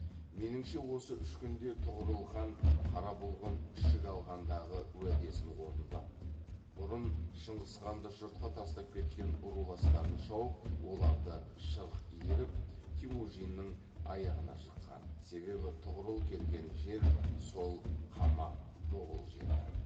меніңше осы үш күнде тұғырыл хан қара бұлғын ішік алғандағы уәдесін орындап бұрын шыңғысханды жұртқа тастап кеткен руластарын шауып оларды шырқ иіріп темужіннің аяғына жыққан себебі тұғырыл келген жер сол қамақ моғұл жері